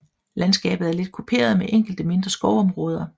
Landskabet er let kuperet med enkelte mindre skovområder